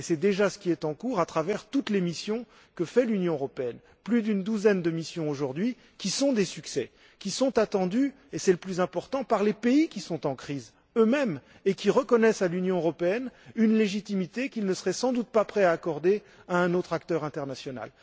Et c'est déjà ce qui est en cours à travers toutes les missions de l'Union européenne plus d'une douzaine de missions sont menées aujourd'hui avec succès et sont attendues c'est là le plus important par les pays qui sont eux mêmes en crise, et qui reconnaissent à l'Union européenne une légitimité qu'ils ne seraient sans doute pas prêts à accorder à un autre acteur international.